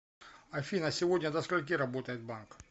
афина сегодня до скольки работает банк